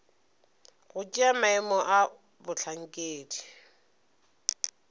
go tšea maemo a bohlankedi